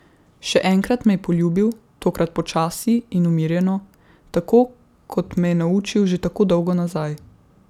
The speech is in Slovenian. Še enkrat me je poljubil, tokrat počasi in umirjeno, tako kot me je naučil že tako dolgo nazaj.